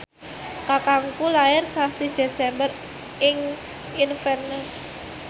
kakangku lair sasi Desember ing Inverness